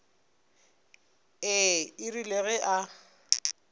ee e rile ge a